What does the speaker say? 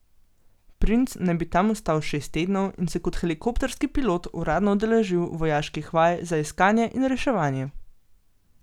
Princ naj bi tam ostal šest tednov in se kot helikopterski pilot uradno udeležil vojaških vaj za iskanje in reševanje.